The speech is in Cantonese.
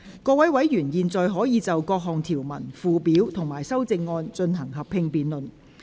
各位委員現在可以就各項條文、附表及修正案，進行合併辯論。